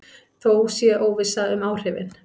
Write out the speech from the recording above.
Þó sé óvissa um áhrifin.